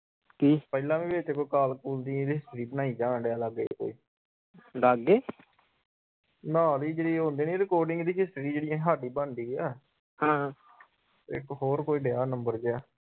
ਪਹਿਲਾ ਵੀ ਵਿਚ ਕੋਈ ਕਾਲ ਕੁਲ ਦੀ history ਬਣਾਈ ਜਾਂਦਿਆਂ ਲਾਗੇ ਕੋਈ ਨਾਲ ਈ ਜਿਹੜੀ ਉਹ ਹੁੰਦੀ ਨਹੀਂ recording ਦੀ history ਜਿਹੜੀ ਹਾਡੀ ਬਣਦੀ ਆ ਇਕ ਹੋਰ ਕੋਈ ਦਿਆ ਨੰਬਰ ਜਾ।